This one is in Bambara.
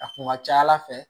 A kun ka ca ala fɛ